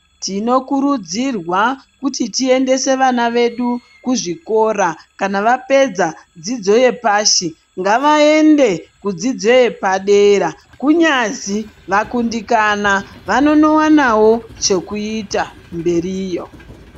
Tinokurudzirwa kuti tiyendese vana vedu kuzvikora. Kana vapedza dzidzo yepasi, ngavayende kudzidzo yepadera. Kunyazi vakundikana, vanonowanawo chekuyita mberiyo.